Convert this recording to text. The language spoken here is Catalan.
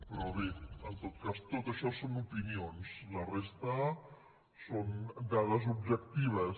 però bé en tot cas tot això són opinions la resta són dades objectives